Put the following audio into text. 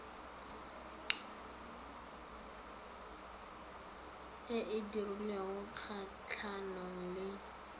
e e dirilweng kgatlhanong le